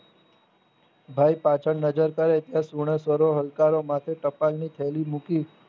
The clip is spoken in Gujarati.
ભાઈ પાછળ નજર કરે ત્યાં સુનેસરે હલકારા માટે ટપાલની થેલી મૂકી